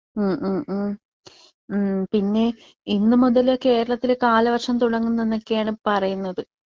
ഉം ഉം ഉം ഉം പിന്നെ ഇന്നുമുതൽ കേരളത്തിൽ കാലവർഷം തുടങ്ങുണൊക്കെയാണ് പറയുന്നത്.